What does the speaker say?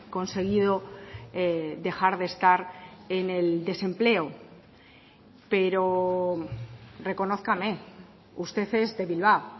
conseguido dejar de estar en el desempleo pero reconózcame usted es de bilbao